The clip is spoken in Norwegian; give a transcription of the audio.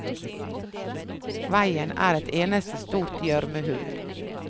Veien er et eneste stort gjørmehull.